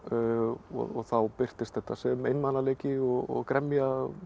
og þá birtist þetta sem einmanaleiki og gremja